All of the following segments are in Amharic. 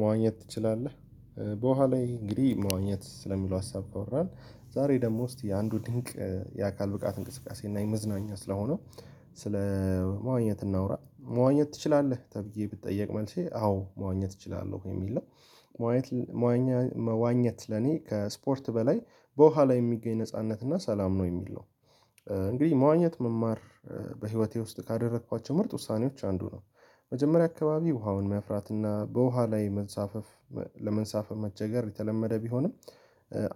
መዋኘት ትችላለህ? በኋላ እንግዲህ መዋኘት ስለሚለው ሀሳብ ተወራን ዛሬ ደግሞ ውስጥ የአንዱ ድንቅ የአካል ብቃት እንቅስቃሴ እና የመዝናኛ ስለሆነ ስለ መዋኘት እናውራ መዋኘት ትችላለህ ተብዬ ብትጠየቅ መልሼ አዎ መዋኘት እችላለሁ የሚል ነው መዋኘት ለኔ ከስፖርት በላይ በኋላ የሚገኝ ነጻነት እና ሰላም ነው የምል ነው እንግዲህ መዋኘት መማር በህይወቴ ውስጥ ካደረኳቸው ምርጥ ውሳኔዎች አንዱ ነው። መጀመሪያ አካባቢ ውሃውን መፍራትና በውሃ ላይ መንሳፈፍ ለመንሳፈፍ መቸገር የተለመደ ቢሆንም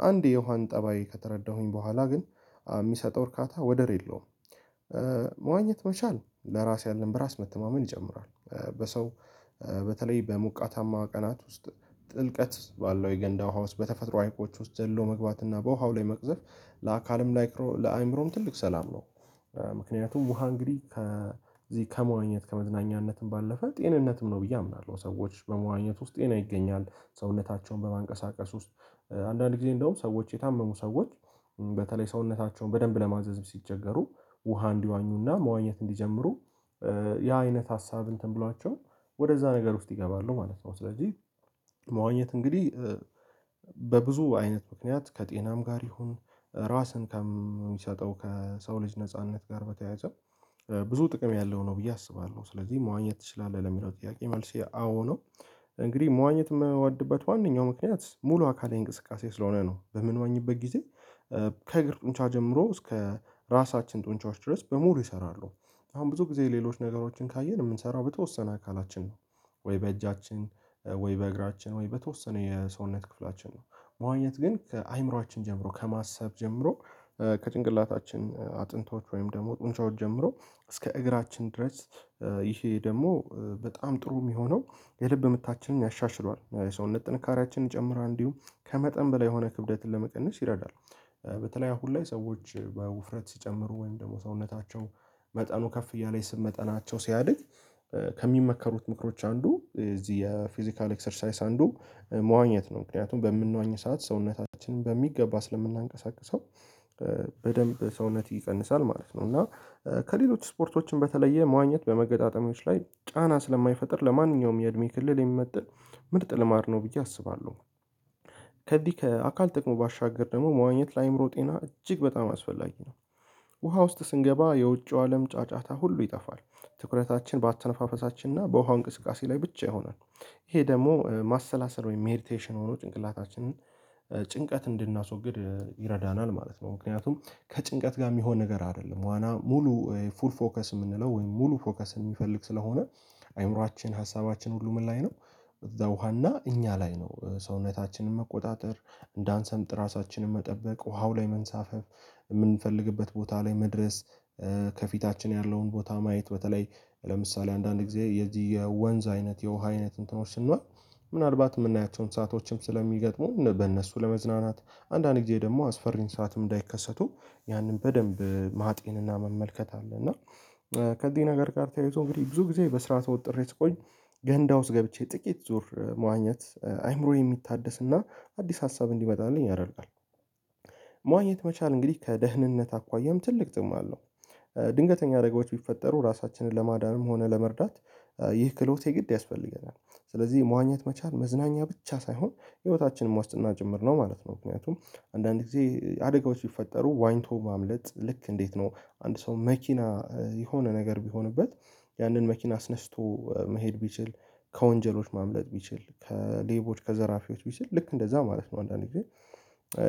አንድ የውሃን ጠባይ ከተረዳሁኝ በኋላ ግን ሚሰጠው እርካታ ወደር የለውም መዋኘት መቻል ለራስ ያለን በራስ መተማመን ይጨምራል በሰው በተለይ በሙቀታማ ቀናት ውስጥ ጥልቀት ባለው የገንዳ ውሃ ውስጥ በተፈጥሮ አይቆች ውስጥ ዘሎ መግባት እና በውሃው ላይ መቅዘፍ ለአካልም ለአይምሮም ትልቅ ሰላም ነው። ምክንያቱም ውሃ እንግዲህ ከዚህ ከመዋኘት ከመዝናኘትም ባለፈ ጤንነትም ነው ብዬ አምናለሁ ሰዎች በመዋኘት ውስጥ ጤና ይገኛል ሰውነታቸውን በማንቀሳቀስ ውስጥ አንዳንድ ጊዜ እንደውም ሰዎች የታመሙ ሰዎች በተለይ ሰውነታቸውን በደንብ ለማዘዝ ስቸገሩ ውሃ እንዲዋኙና መዋኘት እንዲጀምሩ ያ አይነት ሀሳብ እንትን ብሏቸው ወደዛ ነገር ውስጥ ይገባሉ ማለት ነው ስለዚህ መዋኘት እንግዲህ በብዙ አይነት ምክንያት ከጤናም ጋር ይሁን ራስን ከምሰጠው ከሰው ልጅ ነጻነት ጋር በተያያዘ ብዙ ጥቅም ያለው ነው ብዬ አስባለሁ ስለዚህ መዋኘት ትችላለህ? ለሚለው ጥያቄ መልስ አው ነው እንግዲህ መዋኘት የምወድበት ዋነኛው ምክንያት ሙሉ አካል እንቅስቃሴ ስለሆነ ነው በምንወኝበት ጊዜ ከእግር ጡንቻ ጀምሮ እስከ ራሳችን ጡንቻዎች ድረስ በሙሉ ይሰራሉ አሁን ብዙ ጊዜ ሌሎች ነገሮችን ካየን የምንሰራው በተወሰነ አካላችን ነው ወይ በእጃችን ወይ በእግራችን ወይ በተወሰነ የሰውነት ክፍላችን ነው መዋኘት ግን ከአይምሯአችን ጀምሮ ከማሰብ ጀምሮ ከጭንቅላታችን አጥንቶች ወይም ደግሞ ጡንቻዎች ጀምሮ እስከ እግራችን ድረስ ይሄ ደግሞ በጣም ጥሩ ሚሆነው የልብ ምታችንን ያሻሽለዋል የሰውነት ጥንካሬያችንን ጨምራ እንዲሁም ከመጠን በላይ የሆነ ክብደትን ለመቀነስ ይረዳል በተለይ አሁን ላይ ሰዎች በውፍረት ስጨምሩ ወይም ደግሞ ሰውነታቸው መጠኑ ከፍ እያለ የስም መጠናቸው ስያድግ ከሚመከሩት ምክሮች አንዱ እዚህ የፊዚካል ኤክሰርሳይዝ አንዱ መዋኘት ነው ምክንያቱም በምንዋኘው ሰዓት ሰውነታችንን በሚገባ ስለምናንቀሳቅሰው በደንብ ሰውነት ይቀንሳል ማለት ነው እና ከሌሎች ስፖርቶችን በተለየ መዋኘት በመገጣጠሚዎች ላይ ጫና ስለማይፈጥር ለማንኛውም የእድሜ ክልል የሚመጥን ምርጥ ልማድ ነው ብዬ አስባለሁ ከዚህ ከአካል ጥቅሙ ባሻገር ደግሞ መዋኘት ለአይምሮ ጤና እጅግ በጣም አስፈላጊ ነው ውሃ ውስጥ ስንገባ የውጪው አለም ጫጫታ ሁሉ ይጠፋል ትኩረታችን በአተነፋፈሳችን እና በውሃ እንቅስቃሴ ላይ ብቻ ይሆናል ይሄ ደግሞ ማሰላሰል ወይም ሜዲቴሽን ሆኖ ጭንቅላታችንን ጭንቀት እንድናስወግድ ይረዳናል ማለት ነው ምክንያቱም ከጭንቀት ጋር ሚሆን ነገር አይደለም ዋና ሙሉ ፉል ፎከስ ምንለው ወይም ሙሉ ፎከስ የሚፈልግ ስለሆነ አይምሮአችን ሀሳባችን ሁሉ ምን ላይ ነው እዛ ውሃ እኛ ላይ ነው ሰውነታችንን መቆጣጠር እንዳንሰምጥ ራሳችንን መጠበቅ ውሃው ላይ መንሳፈፍ የምንፈልግበት ቦታ ላይ መድረስ ከፊታችን ያለውን ቦታ ማየት በተለይ ለምሳሌ አንዳንድ ጊዜ የዚህ የወንዝ አይነት የውሃ አይነት እንትኖች ስንሆን ምናልባት ምናያቸውን ሰአቶችም ስለሚገጥሙ በእነሱ ለመዝናናት አንዳንዴ ጊዜ ደግሞ አስፈሪን ሰዓትም እንዳይከሰቱ ያንን በደንብ ማጥንና መመልከት አለ እና ከዚህ ነገር ጋር ተያይዞ እንግዲህ ብዙ ጊዜ በስራ ተወጥሬ ስቆይ ገንዳ ውስጥ ገብቼ ጥቅት ዙር መዋኘት አይምሮዬ ሚታደስ እና አድስ ሀሳብ እንዲመጣልኝ ያደርጋል መዋኘት መቻል እንግዲህ ከደህንነት አኳያም ትልቅ ጥቅም አለው። ድንገተኛ አደጋዎች ብፈጠሩ ራሳችንን ለማዳንም ሆነ ለመርዳት ይህ ክህሎት የግድ ያስፈልገናል ስለዚህ መዋኘት መቻል መዝናኛ ብቻ ሳይሆን ሕይወታችንም ዋስትና ጭምር ነው ማለት ነው ምክንያቱም አንዳንዴ አደጋዎች ስፈጠሩ ዋኝቶ ማምለጥ ልክ እንዴት ነው አንድ ሰው መክና የሆነ ነገር ብሆንበት ያንን መኪና አስነስቶ መሄድ ብችል ከወንጀሎች ማምለጥ ብችል ከሌቦች ከዘራፊዎች ብችል ልክ እንደዛ ማለት ነው አንዳንዴ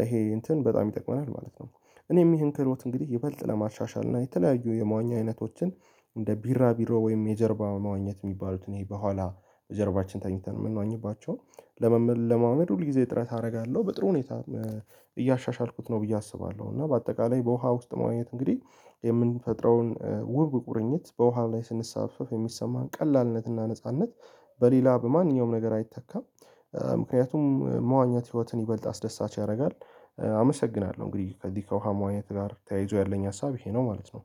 ኤሄ እንትን በጣም ይጠቅመናል ማለት ነው። እኔም ይሄን ክህሎት እንግዲህ ይበልጥ ለማሻሻል እና የተለያዩ የመዋኛ አይነቶችን እንደ ቢራ ብሮ ወይም የጀርባ መዋኘት ሚባሉትን በኋላ ጀርባችን ተኝተን የምንዋኝባቸው ለመለማመድ ሁል ጊዜ እጥረት አርጋለሁ በጥሩ ሁኔታ እያሻሻልኩት ነው ብዬ አስባለሁ እና በአጠቃላይ በውሃ ውስጥ መዋኘት እንግዲህ የምንፈጥረውን ውብ ቁርኝት በውሃ ላይ ስንሰሳፈፍ የሚሰማን ቀላልነትና ነጻነት በሌላ በማንኛውም ነገር አይተካም ምክንያቱም መዋኜት ህይወትን ይበልጥ አስደሳች ያረጋል አመሰግናለሁ። እንግዲህ ከዚህ ከውሃ መዋኘት ጋር ተያይዞ ያለኝ ሀሳብ ይሄ ነው ማለት ነው